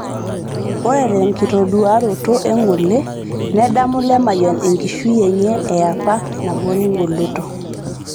ore tenkitoduaroto e ngole, nedamu Lemayian enkishui enye eapa nabore engoloto